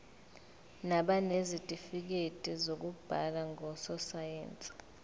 nabanezitifikedi zokuba ngososayense